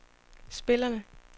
spillerne